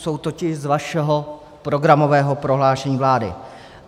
Jsou totiž z vašeho programového prohlášení vlády.